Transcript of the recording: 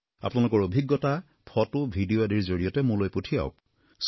আপোনালোকৰ অভিজ্ঞতা photo video আজিৰ জৰিয়তে মোলৈ পঠিয়াওক